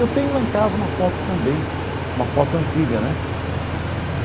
Eu tenho lá em casa uma foto também, uma foto antiga né.